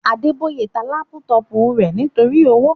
Adeboye ta lápútọ̀pù rẹ̀ nítorí owó